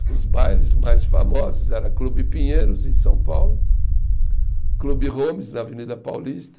E os bailes mais famosos era Clube Pinheiros, em São Paulo, Clube Holmes, na Avenida Paulista,